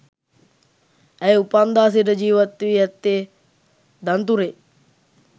ඇය උපන්දා සිට ජීවත්වී ඇත්තේ දන්තුරේ